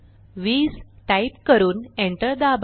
20 type करून enter दाबा